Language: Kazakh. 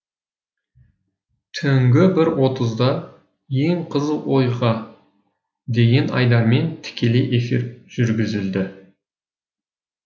түнгі бір отызда ең қызық оқиға деген айдармен тікелей эфир жүргізілді